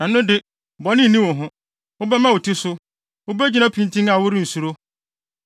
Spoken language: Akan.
ɛno de, bɔne nni wo ho, wobɛma wo ti so; wubegyina pintinn a worensuro.